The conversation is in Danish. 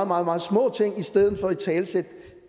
meget meget små ting i stedet for at italesætte